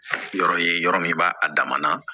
Yɔrɔ ye yɔrɔ min b'a a dama na